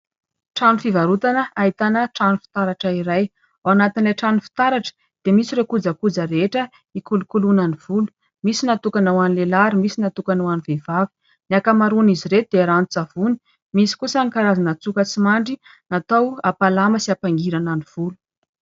Trano fivarotana ahitana trano fitaratra iray, ao anatin'ilay trano fitaratra dia misy irony kojakoja rehetra hikolokoloana ny volo, misy natokana ho an'ny lehilahy ary misy natokana ho an'ny vehivavy. Ny akamaroan' izy ireo dia ranon-tsavony, misy kosa ny karazana tsoka tsy mandry natao hampalama sy hampangirana ny volo.